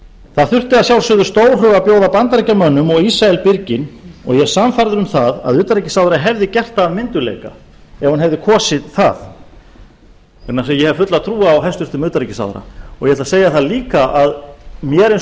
það þurfti að sjálfsögðu stórhug að bjóða bandaríkjamönnum og ísrael byrginn og ég er sannfærður um það að utanríkisráðherra hefði gert það af myndugleika ef hún hefði kosið það vegna þess að ég hef fulla trú á hæstvirtan utanríkisráðherra og ég ætla að segja það líka að mér eins og